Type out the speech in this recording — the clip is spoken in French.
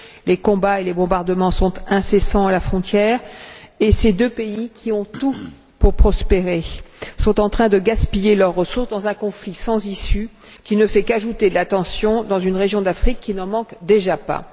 Les combats et les bombardements sont incessants à la frontière, et ces deux pays, qui ont tout pour prospérer, sont en train de gaspiller leurs ressources dans un conflit sans issue qui ne fait qu'ajouter de la tension dans une région d'Afrique qui n'en manque déjà pas.